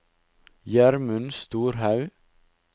Gjermund Storhaug